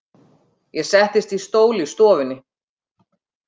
Ég settist í stól í stofunni.